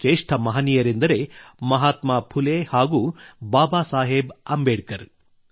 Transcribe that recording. ಈ ಶ್ರೇಷ್ಠ ಮಹನೀಯರೆಂದರೆ ಮಹಾತ್ಮಾ ಫುಲೆ ಹಾಗೂ ಬಾಬಾ ಸಾಹೇಬ್ ಅಂಬೇಡ್ಕರ್